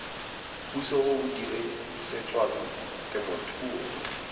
puso o o dirisetswang temothuo